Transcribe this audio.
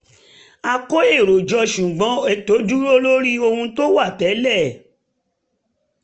um a kó èrò jọ ṣùgbọ́n um ètò dúró lórí ohun tó wà tẹ́lẹ̀